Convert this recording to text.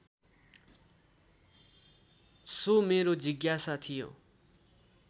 so मेरो जिज्ञासा थियो